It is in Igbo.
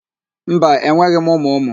Mba, enweghị m ụmụ ụmụ.